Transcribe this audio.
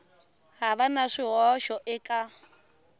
ha va na swihoxo eka